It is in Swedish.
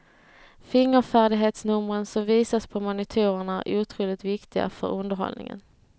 Fingerfärdighetsnumren som visas på monitorerna är otroligt viktiga för underhållningen.